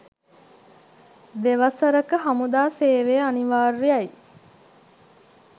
දෙවසරක හමුදා සේවය අනිවාර්යයි.